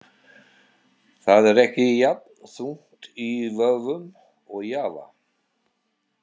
Það er ekki jafn þungt í vöfum og Java.